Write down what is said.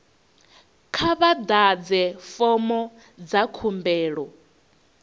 kha vha ḓadze fomo dza khumbelo